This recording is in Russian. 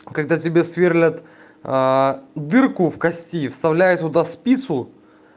когда тебе сверлят а дырку в кости вставляют туда спицу